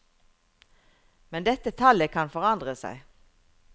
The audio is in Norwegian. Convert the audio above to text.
Men dette tallet kan forandre seg.